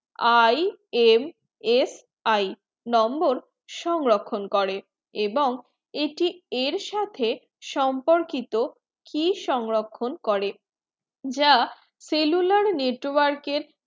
I M S I number সংরক্ষণ করে এবং এটি এর সাথে সম্পর্কিত কি সংরক্ষণ করে যা cellular network এর